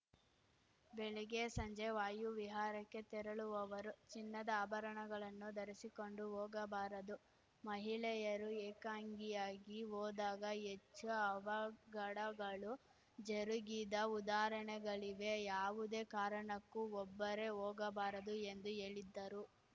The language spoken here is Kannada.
ಬೆಳಿಗ್ಗೆ ಸಂಜೆ ವಾಯು ವಿಹಾರಕ್ಕೆ ತೆರಳುವವರು ಚಿನ್ನದ ಆಭರಣಗಳನ್ನು ಧರಿಸಿಕೊಂಡು ಹೋಗಬಾರದು ಮಹಿಳೆಯರು ಏಕಾಂಗಿಯಾಗಿ ಹೋದಾಗ ಹೆಚ್ಚು ಅವಘಡಗಳು ಜರುಗಿದ ಊದಾಹರಣೆಗಳಿವೆ ಯಾವುದೇ ಕಾರಣಕ್ಕೂ ಒಬ್ಬರೆ ಹೋಗಬಾರದು ಎಂದು ಹೇಳಿದ್ದರು